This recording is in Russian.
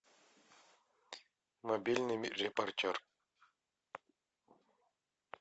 мобильный репортер